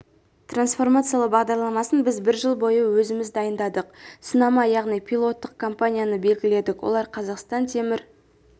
трансформациялау бағдарламасын біз бір жыл бойы өзіміз дайындадық сынама яғни пилоттық компанияны белгіледік олар қазақстан темір